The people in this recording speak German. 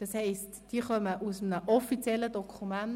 Das heisst, sie stammen aus einem offiziellen Dokument.